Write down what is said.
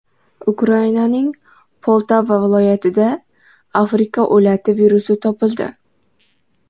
Ukrainaning Poltava viloyatida Afrika o‘lati virusi topildi.